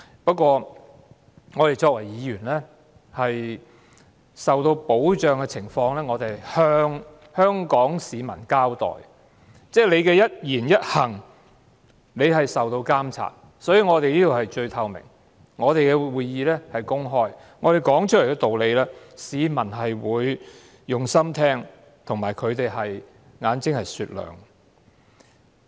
不過作為議員，我們受到保障的同時，是要向香港市民交代的，議員的一言一行均受到監察，故此我們這裏是最透明的，我們的會議是公開的，我們說出來的道理，市民會用心聆聽，而且他們的眼睛是雪亮的。